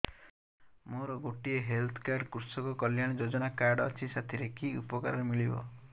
ମୋର ଗୋଟିଏ health card କୃଷକ କଲ୍ୟାଣ ଯୋଜନା କାର୍ଡ ଅଛି ସାଥିରେ କି ଉପକାର ମିଳିବ